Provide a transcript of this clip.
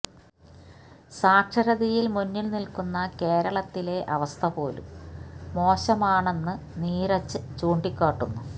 സാക്ഷരതയില് മുന്നില് നില്ക്കുന്ന കേരളത്തിലെ അവസ്ഥ പോലും മോശമാണെന്ന് നീരജ് ചൂണ്ടിക്കാട്ടുന്നു